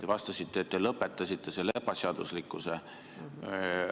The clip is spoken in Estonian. Te vastasite, et te lõpetasite selle ebaseaduslikkuse.